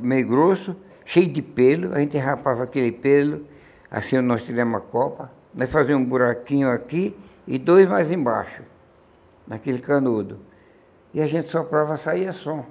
meio grosso, cheio de pelo, a gente rapava aquele pelo, assim, nós tiramos a copa, nós fazíamos um buraquinho aqui, e dois mais embaixo, naquele canudo, e a gente soprava, saía som.